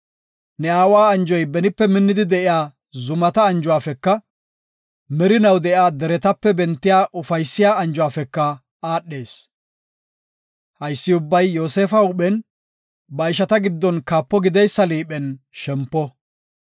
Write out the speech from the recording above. Ne aawa anjoy benipe minnidi de7iya zumata anjuwafeka, merinaw de7iya deretape bentiya ufaysiya anjuwafeka aadhees. Haysi ubbay Yoosefa huuphen, ba ishata giddon kaapo gideysa liiphen shempo.